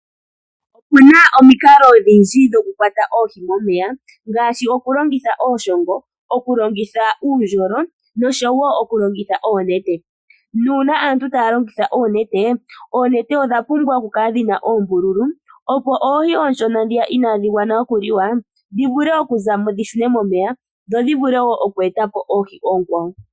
Opuna omikalo odhindji dhokukwata oohi momeya ngaashi okulongitha iishongo, okulongitha uundjolo noshowo okulongitha oonete nuuna aantu taya longitha oonete, oonete odha pumbwa oku kala dhina oombululu opo oohi oonshona inaadhi gwana okuliwa dhi shunwe momeya opo dhi ete po oohi oonkwawo.